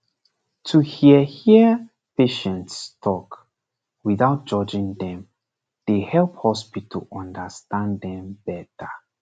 to hear hear patients talk without judging dem dey help hospital understand dem better